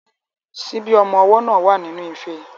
Ṣíbí ọmọ ọwọ́ náà wà nínú ife.